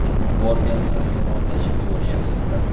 Borgan sari yomonlashib boryapsizlar.